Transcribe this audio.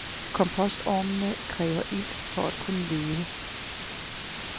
Kompostormene kræver ilt for at kunne leve.